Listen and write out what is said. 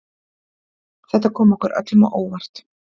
Þetta kom okkur öllum á óvart